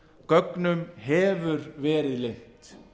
gögnum hefur verið leynt